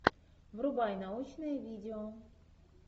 врубай научное видео